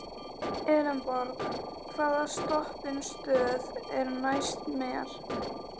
Elenborg, hvaða stoppistöð er næst mér?